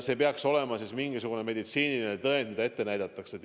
See peaks olema mingisugune meditsiiniline tõend, mida ette näidatakse.